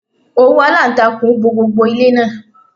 Òwú aláǹtakùn bo gbogbo ilé náà.